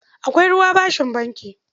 Akwai ruwa bashin banki.